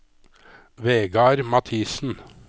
Vegard Mathiesen